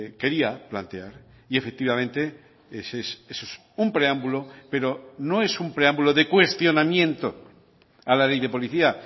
quería plantear y efectivamente eso es un preámbulo pero no es un preámbulo de cuestionamiento a la ley de policía